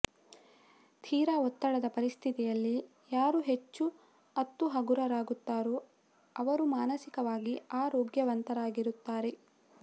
ತೀರ ಒತ್ತಡದ ಪರಿಸ್ಥಿತಿಯಲ್ಲಿ ಯಾರು ಹೆಚ್ಚು ಅತ್ತು ಹಗುರಾಗುತ್ತಾರೋ ಅವರು ಮಾನಸಿಕವಾಗಿ ಆರೋಗ್ಯವಂತರಾಗುತ್ತಾರೆ